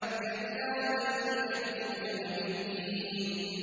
كَلَّا بَلْ تُكَذِّبُونَ بِالدِّينِ